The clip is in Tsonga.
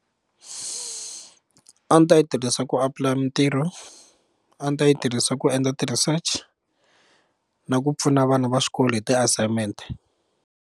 A ni ta yi tirhisa ku apulaya mitirho a ni ta yi tirhisa ku endla ti research na ku pfuna vana va xikolo hi ti-assignment.